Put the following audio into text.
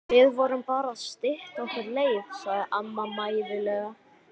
Við vorum bara að stytta okkur leið sagði amma mæðulega.